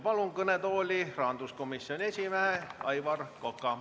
Palun kõnetooli rahanduskomisjoni esimehe Aivar Koka.